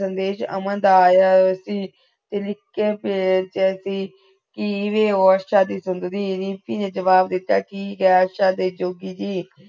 ਸੰਦੇਸ਼ ਅਮਨ ਦਾ ਆਯਾ ਸੀ ਤੇ ਲਿਖ ਕੇ ਬੇਜ ਸੁੰਦਰੀ, ਰਿਮਪੀ ਨੇ ਜਵਾਬ ਦਿਤਾ ਆਸ਼ਾ